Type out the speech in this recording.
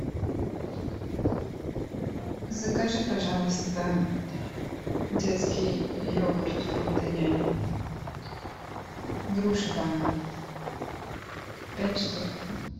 закажи пожалуйста детский йогурт фрутоняня груша банан пять штук